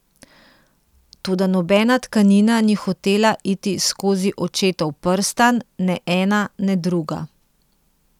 Toda nobena tkanina ni hotela iti skozi očetov prstan, ne ena ne druga.